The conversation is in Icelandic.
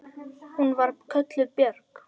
Hún var kölluð Björg.